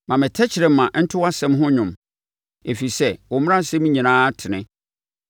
Ma me tɛkrɛma nto wʼasɛm ho dwom, ɛfiri sɛ wo mmaransɛm nyinaa tene.